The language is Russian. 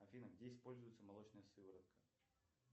афина где используется молочная сыворотка